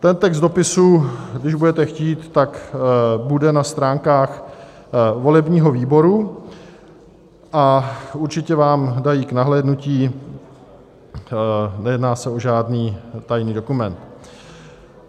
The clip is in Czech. Ten text dopisu, když budete chtít, tak bude na stránkách volebního výboru a určitě vám dají k nahlédnutí, nejedná se o žádný tajný dokument.